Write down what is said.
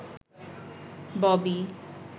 Bobby